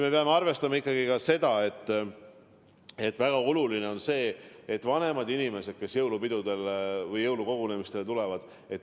Me peame arvestama ikkagi ka seda väga olulist asja, et ohus on just vanemad inimesed, kes jõulupidudele või jõulukogunemistele tulevad.